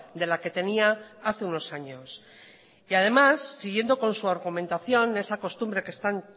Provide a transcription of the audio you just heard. de la que tenía hace unos años además siguiendo con su argumentación esa costumbre que están